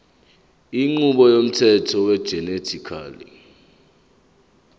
inqubo yomthetho wegenetically